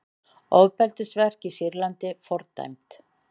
Ofbeldisverk í Sýrlandi fordæmd